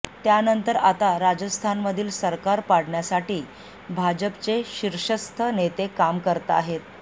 त्यानंतर आता राजस्थानमधील सरकार पाडण्यासाठी भाजपचे शिर्षस्थ नेते काम करताहेत